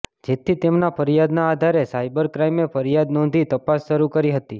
જેથી તેમના ફરિયાદના આધારે સાયબર ક્રાઈમે ફરિયાદ નોંધી તપાસ શરૂ કરી હતી